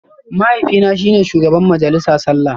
Mahaifina shi ne shugaban majalisa sallah